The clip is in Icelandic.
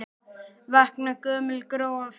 Vakna gömul gró og fræ.